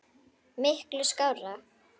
Miklu skárra.